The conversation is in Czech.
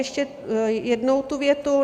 Ještě jednou tu větu.